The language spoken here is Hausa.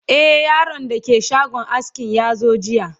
e Yaron da ke shagon askin yazo jiya